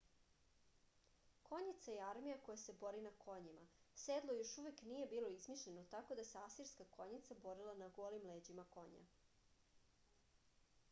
konjica je armija koja se bori na konjima sedlo još uvek nije bilo izmišljeno tako da se asirska konjica borila na golim leđima konja